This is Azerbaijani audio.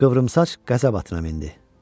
Qıvrımsaç qəzəb atına mindi.